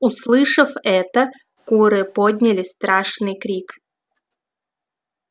услышав это куры подняли страшный крик